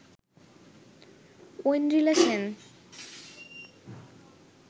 Aindrila Sen